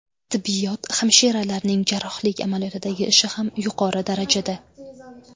Tibbiyot hamshiralarining jarrohlik amaliyotidagi ishi ham yuqori darajada.